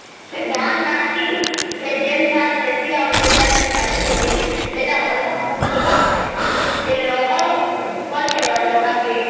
ସେ କଁ ହେଲା କି ଯୋଉ ଧାନ ଲଗସଇ ଯେ ସାର ଲଗସଇ ସେତ ସେମିତି କାମ ଐସୀ ସେତ ଲୋହା ସେତ